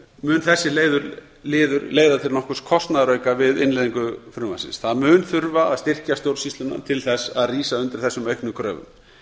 mun þessi liður leiða til nokkurs kostnaðarauka við innleiðingu frumvarpsins það mun þurfa að styrkja stjórnsýsluna til þess að rísa undir þessum auknu kröfum